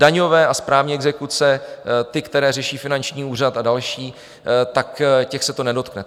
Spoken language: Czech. Daňové a správní exekuce, ty, které řeší finanční úřad a další, tak těch se to nedotkne.